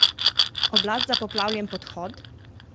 Oblast za poplavljen podhod?